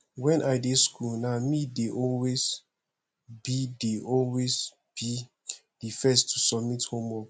wen i dey school na me dey always be dey always be the first to submit homework